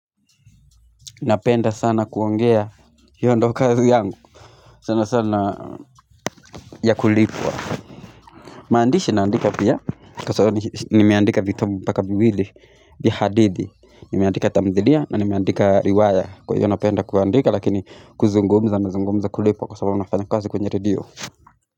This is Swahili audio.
Napenda sana kuongea hiyo ndo kazi yangu sana sana ya kulipwa maandishi naandika pia kwa sababu nimeandika vitabu mbaka viwili vya hadithi Nimeandika tamthilia na nimeandika riwaya kwa hivyo napenda kuandika lakini kuzungumza nazungumza kulipwa kwa sababu nafanya kazi kwenye redio.